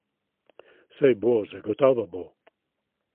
Saj bo, zagotovo bo!